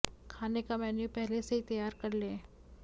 खाने का मैन्यू पहले से ही तैयार कर लें